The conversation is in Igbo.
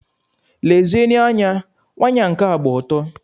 Lezienụ anya, waya nka gba ọtọ!